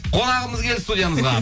қонағымыз келді студиямызға